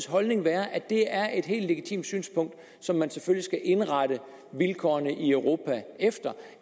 holdning være at det er et helt legitimt synspunkt som man selvfølgelig skal indrette vilkårene i europa efter